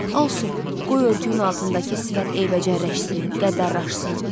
Olsun, qoy örtüyün altındakı sifət eybəcərləşsin, qəddarlaçsın.